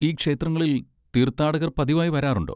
ഈ ക്ഷേത്രങ്ങളിൽ തീർത്ഥാടകർ പതിവായി വരാറുണ്ടോ?